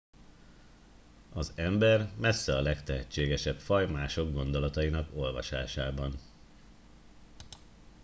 az ember messze a legtehetségesebb faj mások gondolatainak olvasásában